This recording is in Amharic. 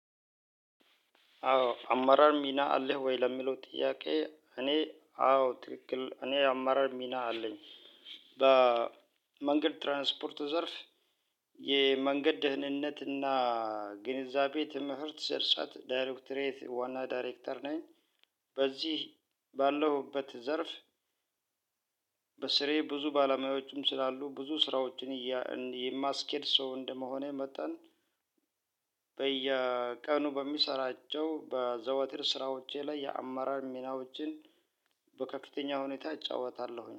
አዎ አማራር ሚና አለህ ወይ? ለሚለው ጥያቄ እኔ አዎ ትክክል እኔ አማራር ሚና አለኝ። በመንገድ ትራንስፖርት ዘርፍ የመንገድ ደህንነት እና ግንዛቤ ትምህርት ስርጸት ዳይሬክቶሬት ዋና ዳይሬክተር ነኝ። በዚህ ባለሁበት ዘርፍ በስሬ ብዙ ባለሙያዎቹም ስላሉ ብዙ ስራዎችን የማስኬድ ሰው እንደመሆኔ መጠን በየቀኑ በምሰራቸው በዘወትር ስራዎቼ ላይ የአመራር ሚናዎችን በከፍተኛ ሁኔታ እጫወታለሁኝ።